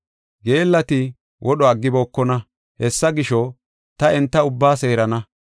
Geellati wodho aggibokona; hessa gisho, ta enta ubbaa seerana.